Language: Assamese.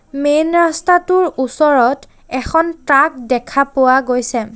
মেইন ৰাস্তাটোৰ ওচৰত এখন ট্ৰাক দেখা পোৱা গৈছে।